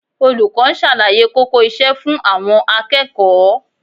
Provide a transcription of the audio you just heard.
Olùkọ́ ń ṣàlàyé kókó iṣẹ́ fún àwọn akẹ́kọ̀ọ́